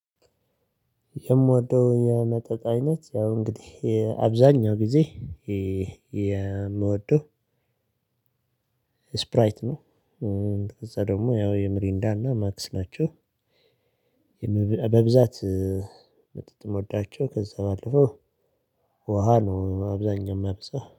የምወደው የመጠጥ አይነት ያው እንግዲህ አብዛኛው ጊዜ የምወደው ስፕራይት ነው። ከዛ ደግሞ ያው የምሪንዳና ማክስ ናቸው። በብዛ ወዳቸው ከዛ ባለፈው ውሃ ነው አብዛኛው ማበዛው።